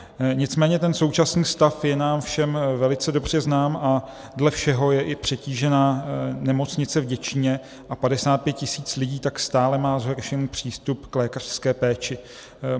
Nicméně ten současný stav je nám všem velice dobře znám a dle všeho je i přetížena nemocnice v Děčíně a 55 tisíc lidí tak stále má zhoršený přístup k lékařské péči.